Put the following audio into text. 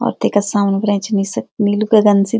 और तेका सामणी फर ऐंच निस नीलू गगन च।